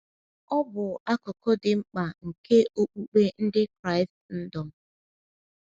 Ọ bụ akụkụ dị mkpa nke okpukpe ndị Kraịstndọm.